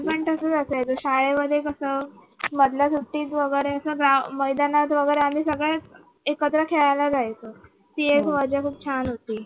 आम्ही पण तसेच असायचो शाळेमध्ये कसं मधल्या सुट्टीत वगैरे अस grou मैदानात वगैरे आम्ही सगळे एकत्र खेळायला जायचं ती मज्जा खूप छान होती